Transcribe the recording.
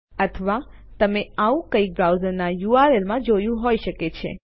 અથવા તમે આવું કંઈક બ્રાઉઝરના યુઆરએલ માં જોયું હોય શકે છે